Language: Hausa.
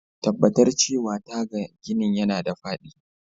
Tabbatar cewa taga ginin yana da faɗi.